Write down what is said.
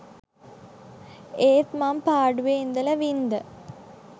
ඒත් මං පාඩුවෙ ඉඳලා වින්ද